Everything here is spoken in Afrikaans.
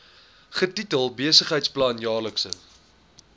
getitel besigheidsplan jaarlikse